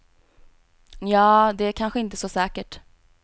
Nja, det är kanske inte så säkert.